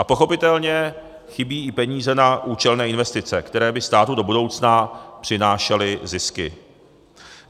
A pochopitelně chybí i peníze na účelné investice, které by státu do budoucna přinášely zisky.